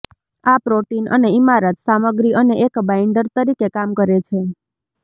આ પ્રોટીન અને ઇમારત સામગ્રી અને એક બાઈન્ડર તરીકે કામ કરે છે